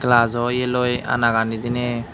glajo yeloi ana gani diney.